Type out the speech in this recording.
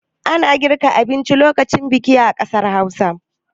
Ana girka abinci lokacin biki a ƙasar Hausa.